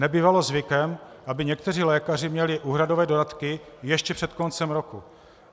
Nebývalo zvykem, aby někteří lékaři měli úhradové dodatky ještě před koncem roku.